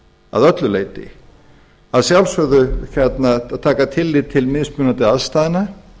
að öllu leyti að sjálfsögðu ber að taka tillit til mismunandi aðstæðna